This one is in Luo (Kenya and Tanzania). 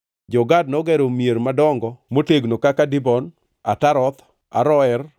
Jo-Gad nogero mier madongo motegno kaka Dibon, Ataroth, Aroer,